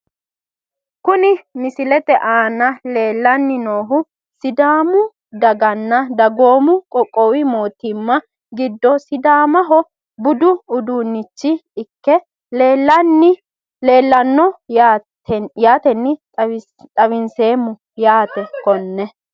Kuni misilete aana leelani noohu sidaamu daganna dagoomu qoqowu mootimma gido sidaamaho budu uduunichi ikke leelano yaateni xawiseemo yaate kone.